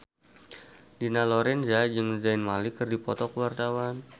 Dina Lorenza jeung Zayn Malik keur dipoto ku wartawan